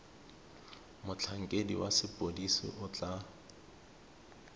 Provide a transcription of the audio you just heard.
motlhankedi wa sepodisi o tla